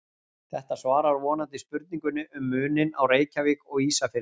Þetta svarar vonandi spurningunni um muninn á Reykjavík og Ísafirði.